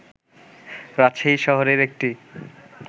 রাজশাহী শহরের একটি